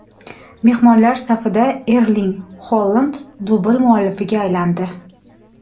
Mehmonlar safida Erling Holand dubl muallifiga aylandi.